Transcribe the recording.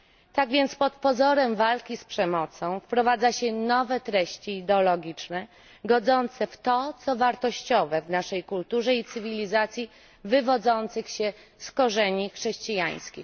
Tak więc pod pozorem walki z przemocą wprowadza się nowe treści ideologiczne godzące w to, co wartościowe w naszej kulturze i cywilizacji wywodzących się z korzeni chrześcijańskich.